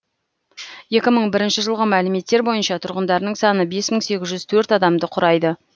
екі мың бірінші жылғы мәліметтер бойынша тұрғындарының саны бес мың сегіз жүз төрт адамды құрайды